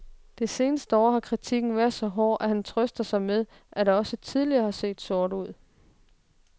Det seneste år har kritikken været så hård, at han trøster sig med, at det også tidligere har set sort ud.